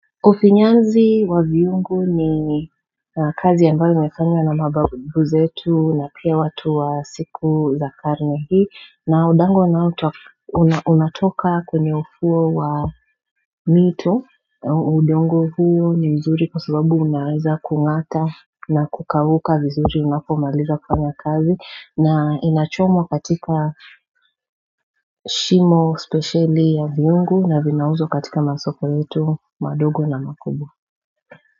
Ufinyazi wa viungo ni kazi ambayo imefanya na mababu zetu na pia watu wa siku za karne hii na udongo unatoka kwenye ufuo wa mito udongo huo ni mzuri kwa sababu unaweza kung'ata na kukauka vizuri unapomaliza kufanya kazi na inachomwa katika shimo spesheli ya viungu na vinauzwa katika masoko yetu, madogo na makubwa.